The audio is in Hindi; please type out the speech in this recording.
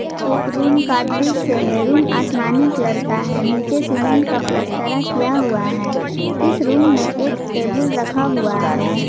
यह एक रूम का दृश्य है रूम आसमानी कलर का है नीचे सीमेंट का पलस्टरा किया हुआ है इस रूम में एक टेबुल रखा हुआ है।